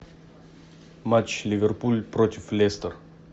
матч ливерпуль против лестер